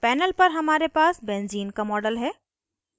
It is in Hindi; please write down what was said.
panel पर हमारे पास benzene का model है